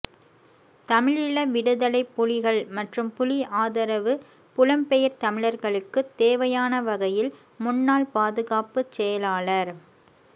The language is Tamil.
தமிழீழ விடுதலைப் புலிகள் மற்றும் புலி ஆதரவு புலம்பெயர் தமிழர்களுக்கு தேவையான வகையில் முன்னாள் பாதுகாப்புச் செயலாளர்